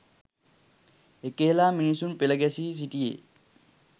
එක හෙළා මිනිසුන් පෙළ ගැසී සිටියේ